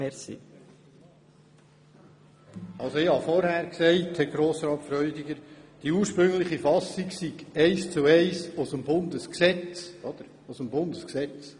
Herr Grossrat Freudiger, ich habe vorhin erwähnt, dass die ursprüngliche Fassung eins zu eins aus dem Bundesgesetz stammt.